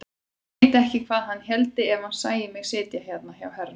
Ég veit ekki hvað hann héldi ef hann sæi mig sitja hérna hjá herra!